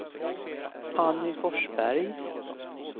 Anny Forsberg